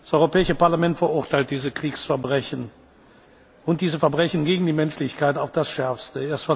zersetzen. Das Europäische Parlament verurteilt diese Kriegsverbrechen und diese Verbrechen gegen die Menschlichkeit auf das